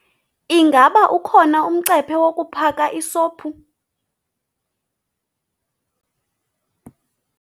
Ingaba ukhona umcephe wokuphaka isophu?